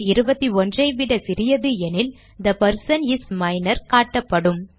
21 ஐ விட சிறியது எனில் தே பெர்சன் இஸ் மைனர் காட்டப்படும்